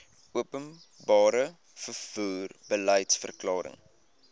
openbare vervoer beliedsverklaring